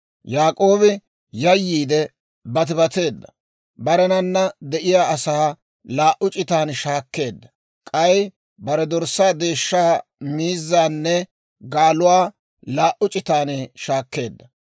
Yaak'oobi yayyiide batibateedda; barenana de'iyaa asaa laa"u c'itan shaakkeedda; k'ay bare dorssaa, deeshshaa, miizzaanne gaaluwaa laa"u c'itan shaakkeedda.